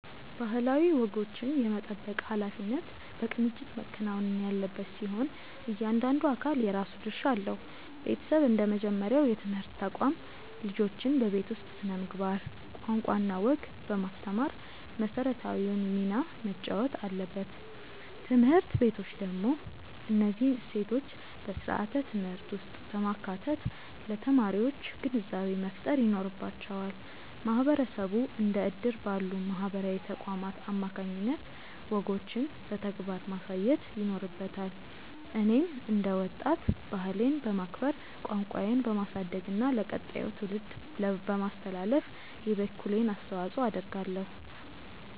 ባህላዊ ወጎችን የመጠበቅ ኃላፊነት በቅንጅት መከናወን ያለበት ሲሆን፣ እያንዳንዱ አካል የራሱ ድርሻ አለው። ቤተሰብ እንደ መጀመሪያው የትምህርት ተቋም፣ ልጆችን በቤት ውስጥ ስነ-ምግባር፣ ቋንቋና ወግ በማስተማር መሰረታዊውን ሚና መጫወት አለበት። ትምህርት ቤቶች ደግሞ እነዚህን እሴቶች በስርዓተ-ትምህርት ውስጥ በማካተት ለተማሪዎች ግንዛቤ መፍጠር ይኖርባቸዋል። ማህበረሰቡ እንደ እድር ባሉ ማህበራዊ ተቋማት አማካኝነት ወጎችን በተግባር ማሳየት ይኖርበታል። እኔም እንደ ወጣት፣ ባህሌን በማክበር፣ ቋንቋዬን በማሳደግና ለቀጣዩ ትውልድ በማስተላለፍ የበኩሌን አስተዋጽኦ አደርጋለሁ።